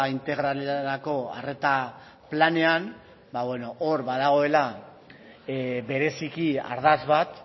integralerako arreta planean hor badagoela bereziki ardatz bat